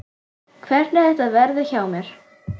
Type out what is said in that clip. Hvernig þetta verði hjá mér.